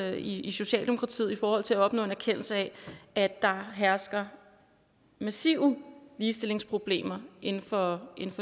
i i socialdemokratiet i forhold til at opnå erkendelse af at der hersker massive ligestillingsproblemer inden for